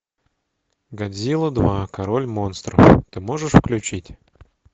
годзилла два король монстров ты можешь включить